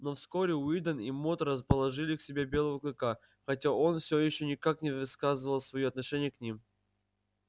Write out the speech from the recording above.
но вскоре уидон и мод расположили к себе белого клыка хотя он все ещё никак не выказывал своё отношения к ним